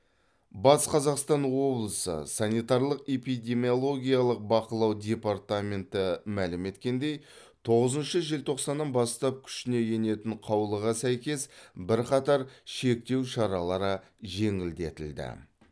батыс қазақстан облысы санитарлық эпидемиологиялық бақылау департаменті мәлім еткендей тоғызыншы желтоқсаннан бастап күшіне енетін қаулыға сәйкес бірқатар шектеу шаралары жеңілдетілді